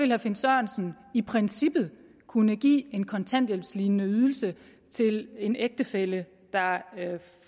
herre finn sørensen i princippet kunne give en kontanthjælpslignende ydelse til en ægtefælle der